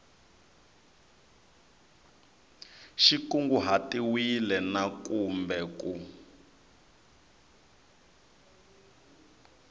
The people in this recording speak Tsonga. xi kunguhatiwile na kumbe ku